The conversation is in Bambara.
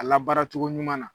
A la baara cogo ɲuman na